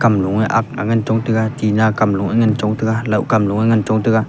kamloe ak ngan chong taiga tinna kamloe ngan chong taiga lohkam loe ngan chong taiga.